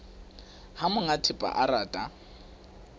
ha monga thepa a rata